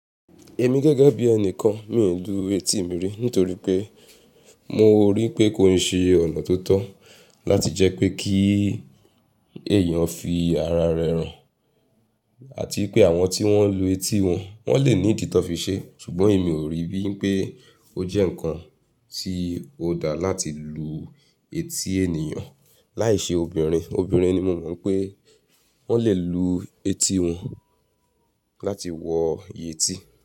Èmi gẹ́gẹ́ bí ẹni kan mi ò lù eti mi rí nítorí pé mo rí pé kó ń ṣe ọ̀nà tó tọ́ láti jẹ́ pé kí èèyàn fi ara rẹ̀ hàn àti pé àwọn tí wọ́n ń lu etí wọn, wọ́n lè ní ìdí ti wón fi ṣe. Ṣùgbọ́n èmi ò rí bí wipé ó jẹ́ ǹkan tí ó da láti lu etí ènìyàn láìṣe obìnrin. Obìnrin ni mo mọ̀ wipé wọ́n lè lu etí wọn láti wọ yẹtí.